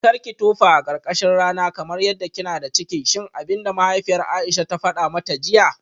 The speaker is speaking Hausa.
Karki tofa a karkashin rana kamar yadda kina da ciki shine abinda mahaifiyar Aisha ta fada mata jiya?